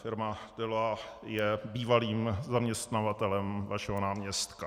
Firma Deloitte je bývalým zaměstnavatelem vašeho náměstka.